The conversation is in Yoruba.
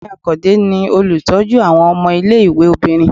Ìyáàfín akande ni olutọju awọn ọmọ ìlé-ìwé obírín